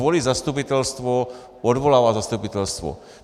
Volí zastupitelstvo, odvolává zastupitelstvo.